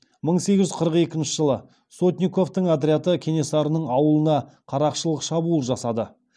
мың сегіз жүз қырық екінші жылы сотниковтың отряды кенесарының ауылына қарақшылық шабуыл жасады